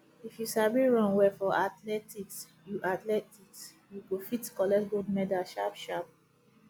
if you sabi run well for athletics you athletics you go fit collect gold medal sharp sharp